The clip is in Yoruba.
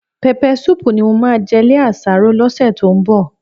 Pẹpẹ súùpù ni mo máa jẹ lé àsáró lọ́sẹ̀ tó ń bọ̀